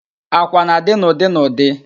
Àkwà na-adị n'ụdị n'ụdị